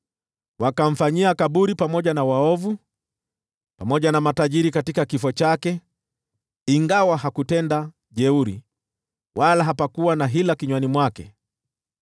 Wakamfanyia kaburi pamoja na waovu, pamoja na matajiri katika kifo chake, ingawa hakutenda jeuri, wala hapakuwa na hila kinywani mwake.